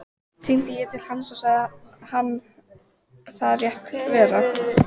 Hringdi ég til hans og sagði hann það rétt vera.